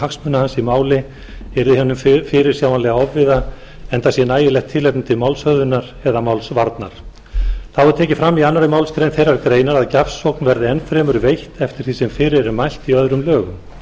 hagsmuna hans í máli yrði honum fyrirsjáanlega ofviða enda sé nægilegt tilefni til málshöfðunar eða málsvarnar þá er tekið fram í annarri málsgrein þeirrar greinar að gjafsókn verði enn fremur veitt eftir því sem fyrir er mælt í öðrum lögum